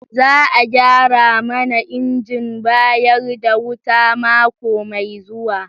Za a gyara mana injin bayar da wuta mako mai zuwa.